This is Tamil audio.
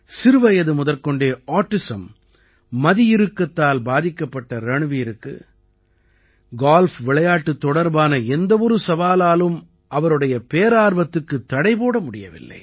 சிறுவயது முதற்கொண்டே ஆட்டிசம் மதியிறுக்கத்தால் பாதிக்கப்பட்ட ரண்வீருக்கு கால்ஃப் விளையாட்டுத் தொடர்பான எந்த ஒரு சவாலாலும் அவருடைய பேரார்வத்துக்குத் தடை போட முடியவில்லை